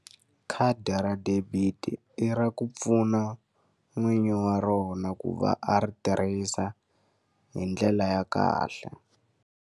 Khadi ra debit-i i ra ku pfuna n'winyi wa rona ku va a ri tirhisa hi ndlela ya kahle.